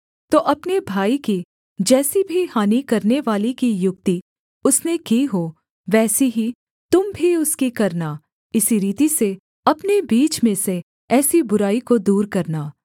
तो अपने भाई की जैसी भी हानि करवाने की युक्ति उसने की हो वैसी ही तुम भी उसकी करना इसी रीति से अपने बीच में से ऐसी बुराई को दूर करना